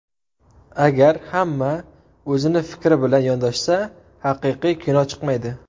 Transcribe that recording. Agar hamma o‘zini fikri bilan yondashsa, haqiqiy kino chiqmaydi.